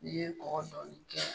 N'i ye mɔgɔ sɔrɔ